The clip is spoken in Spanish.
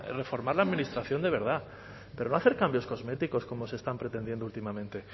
reformar la administración de verdad pero no hacer cambios cosméticos como se están pretendiendo últimamente